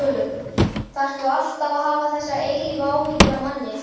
ÞARFTU ALLTAF AÐ HAFA ÞESSAR EILÍFU ÁHYGGJUR AF MANNI.